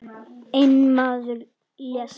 Einn maður lést.